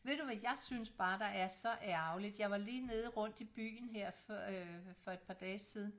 Ved du hvad jeg synes bare der er så ærgerligt jeg var lige nede rundt i byen her for øh for et par dage siden